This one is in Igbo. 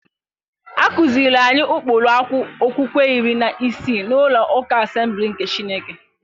A kụziiri anyị ụkpụrụ okwukwe iri na isii n'ụlọ ụka Asemblisị nke Chineke.